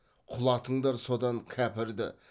құлатыңдар содан кәпірді